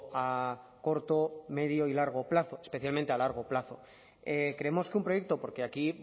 a corto medio y largo plazo especialmente a largo plazo creemos que un proyecto porque aquí